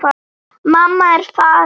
Mamma er farin.